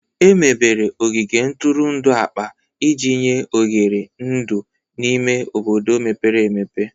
Emebere ogige ntụrụndụ akpa iji nye oghere ndụ n'ime obodo mepere emepe.